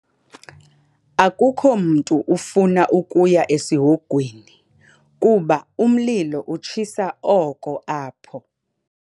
Akukho mntu ofuna ukuya esihogweni kuba umlilo utshisa oko apho.